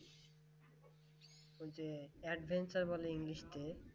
ওই যে Adventure বলে ইংলিশ কে